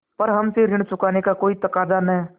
पर हमसे ऋण चुकाने का कोई तकाजा न